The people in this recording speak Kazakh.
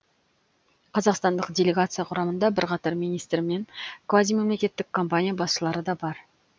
қазақстандық делегация құрамында бірқатар министр мен квазимемлекеттік компания басшылары да бар